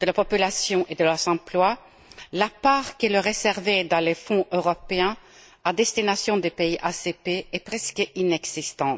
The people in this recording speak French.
de la population et de leurs emplois, la part qui leur est réservée dans les fonds européens à destination des pays ACP est presque inexistante.